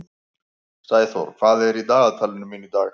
Sæþór, hvað er í dagatalinu mínu í dag?